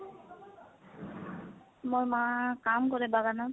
মোৰ মা কাম কৰে বাগানত।